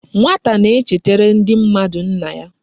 Nwata na e chetara ndi mmadu nna ya